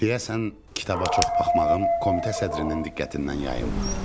Deyəsən kitaba çox baxmağım komitə sədrinin diqqətindən yayınmadı.